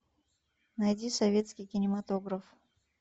найди советский кинематограф